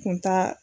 Kun t'a